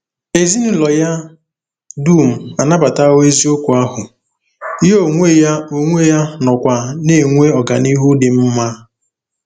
Ezinụlọ ya dum anabatawo eziokwu ahụ, ya onwe ya onwe ya nọkwa na-enwe ọganihu dị mma.